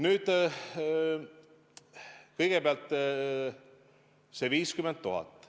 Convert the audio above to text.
Nüüd, kõigepealt see 50 000.